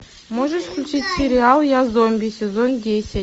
можешь включить сериал я зомби сезон десять